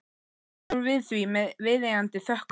Hún tekur við því með viðeigandi þökkum.